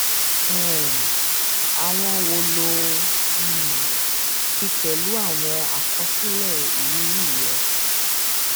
um àwọn wo lo ò um fi pẹlú àwọn àkọsílẹ ìrírí rẹ